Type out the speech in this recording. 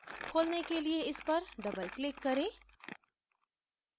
खोलने के लिए इस पर double click करें